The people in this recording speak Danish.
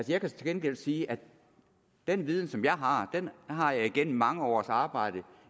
jeg kan til gengæld sige at den viden som jeg har har har jeg igennem mange års arbejde